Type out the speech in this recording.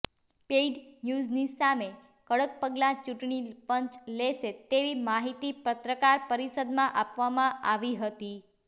paid ન્યૂઝની સામે કડક પગલાં ચૂંટણી પંચ લેશે તેવી માહિતી પત્રકાર પરિષદમાં આપવામાં આવી હતી